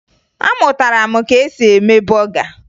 Amụtara m ka e si eme bọga